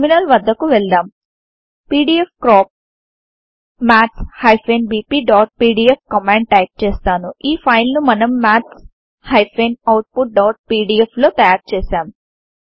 terminal వద్దకు వెళ్దాం PDF crop maths bpపీడీఎఫ్ కమాండ్ టైపు చేస్తాను ఈ ఫైల్ ను మనం maths outపీడీఎఫ్ లో తయారు చేసాం